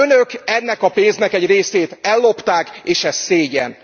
Önök ennek a pénznek egy részét ellopták, és ez szégyen.